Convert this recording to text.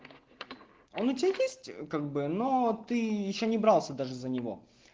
он у тебя есть как бы но ты ещё не брался даже за него